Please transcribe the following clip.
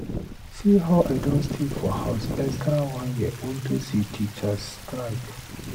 See how I don stay for house extra one year unto say teachers strike.